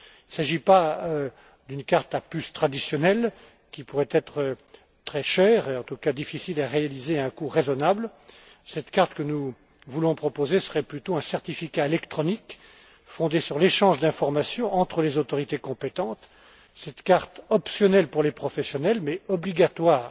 Il ne s'agit pas d'une carte à puce traditionnelle qui pourrait être très chère et en tout cas difficile à réaliser à un coût raisonnable. Cette carte que nous voulons proposer serait plutôt un certificat électronique fondé sur l'échange d'informations entre les autorités compétentes. Cette carte optionnelle pour les professionnels mais obligatoire